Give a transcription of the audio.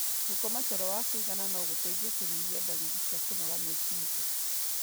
Gũkoma toro wa kũigana no gũteithie kũnyihia ndariri cia kũnoga meciria.